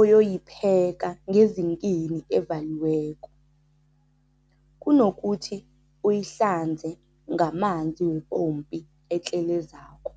oyoyipheka ngezinkini evaliweko, kunokuthi uyihlanze ngamanzi wepompo etlelezako.